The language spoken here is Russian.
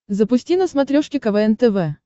запусти на смотрешке квн тв